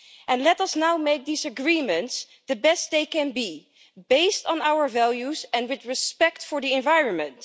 And let us now make these agreements the best they can be, based on our values and with respect for the environment.